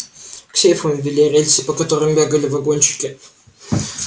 к сейфам вели рельсы по которым бегали вагончики